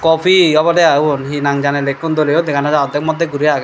obodey i obon he nang jane likkon doly yo degha no jai odek modek guri agey.